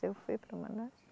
Eu fui para Manaus.